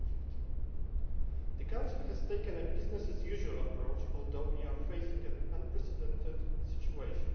2015. The Council has taken a business as usual' approach although we are facing an unprecedented situation.